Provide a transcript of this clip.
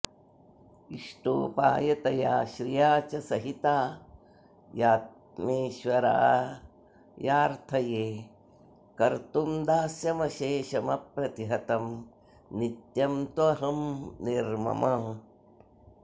इष्टोपायतया श्रिया च सहितायात्मेश्वरायार्थये कर्तुं दास्यमशेषमप्रतिहतं नित्यं त्वहं निर्ममः